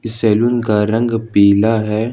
Salon का रंग पीला है।